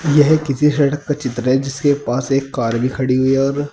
यह किसी सड़क का चित्र जिसके पास एक कार भी खड़ी हुई और--